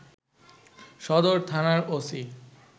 সদর থানার ওসি